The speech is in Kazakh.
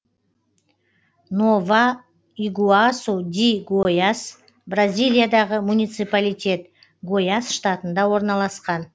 нова игуасу ди гояс бразилиядағы муниципалитет гояс штатында орналасқан